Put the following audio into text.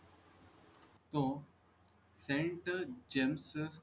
तो sent gems